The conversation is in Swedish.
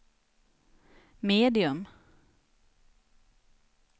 medium